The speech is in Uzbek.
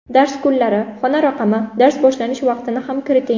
Dars kunlari, xona raqami, dars boshlanish vaqtini ham kiriting.